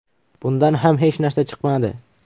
Bundan ham hech narsa chiqmadi.